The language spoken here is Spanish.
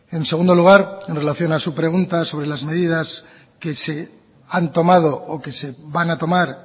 en segundo lugar en relación a su pregunta sobre las medidas que se han tomado o que se van a tomar